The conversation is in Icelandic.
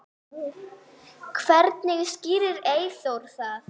Hvernig skýrir Eyþór það?